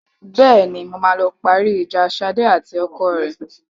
Bẹ́ẹ̀ni, mo máa lọ parí ìjà Ṣadé àti ọkọ rẹ.